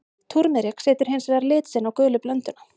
Túrmerik setur hins vegar lit sinn á gulu blönduna.